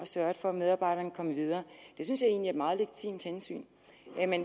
sørget for at medarbejderne er kommet videre det synes jeg egentlig er et meget legitimt hensyn